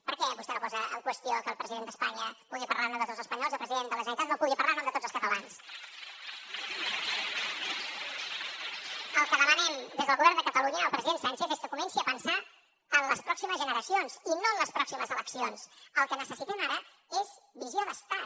per què vostè no posa en qüestió que el president d’espanya pugui parlar en nom de tots els espanyols i el president de la generalitat no pugui parlar en nom de tots els catalans el que demanem des del govern de catalunya al president sánchez és que comenci a pensar en les pròximes generacions i no en les pròximes eleccions el que necessitem ara és visió d’estat